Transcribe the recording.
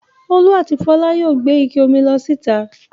Olú àti Fọlá yóò gbé ike omi lọ síta.